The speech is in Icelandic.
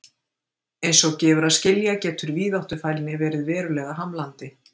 Eins og gefur að skilja getur víðáttufælni verið verulega hamlandi.